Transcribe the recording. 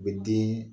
U bɛ den